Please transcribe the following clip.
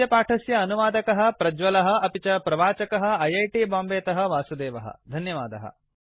अस्य पाठस्य अनुवादकः प्रज्वलः अपि च प्रवाचकः ऐ ऐ टी बाम्बे तः वासुदेवः धन्यवादः